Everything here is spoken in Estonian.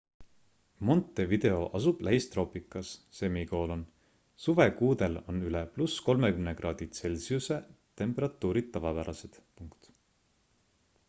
montevideo asub lähistroopikas; suvekuudel on üle +30 °c temperatuurid tavapärased